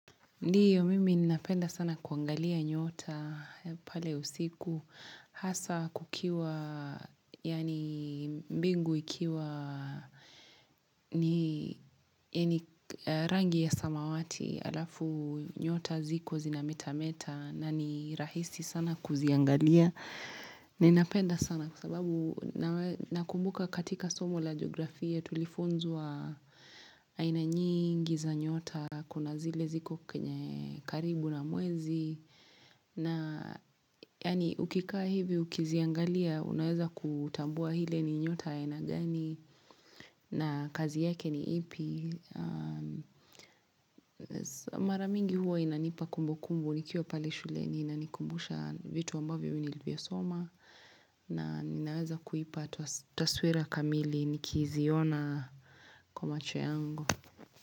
Ndiyo mimi ninapenda sana kuangalia nyota pale usiku hasa kukiwa yaani mbingu ikiwa ni rangi ya samawati alafu nyota ziko zinameta meta na ni rahisi sana kuziangalia. Ninapenda sana kwa sababu nakumbuka katika somo la geografia tulifunzwa aina nyingi za nyota kuna zile ziko kwenye karibu na mwezi na yaani ukikaa hivi ukiziangalia unaweza kutambua ile ni nyota aina gani na kazi yake ni ipi Maramingi huo inanipa kumbu kumbu nikiwa pale shuleni inanikumbusha vitu ambavyo nilivisoma na ninaweza kuipa taswira kamili nikiziona kwa macho yangu.